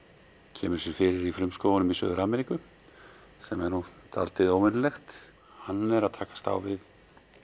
kemur sér fyrir í frumskógunum í Suður Ameríku sem er dálítið óvenjulegt hann er að takast á við